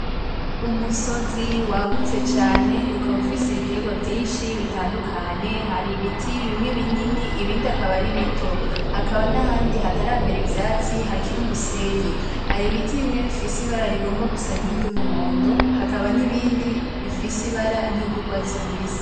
Umusozi wagutse cane ukaba ufise ibiterwa vyinshi bitandukanye. Haribiti bimwe binini, ibindi bikaba ari bito. Hakaba n'ahandi hataramera ivyatsi, hakiri umusenyi. Hari ibiti bimwe bifise ibara rigomba gusa nk'iry'umuhondo hakaba nibindi bifise ibara ry'urwatsi rubisi.